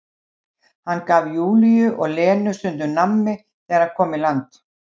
Hann gaf Júlíu og Lenu stundum nammi þegar hann kom í land.